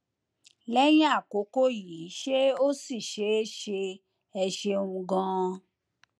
lẹyìn àkókò yìí ṣé ó ṣì ṣeé ṣe ẹ ṣeun ganan